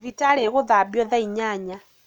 Thibitarĩ ĩgũthambio thaa inyanya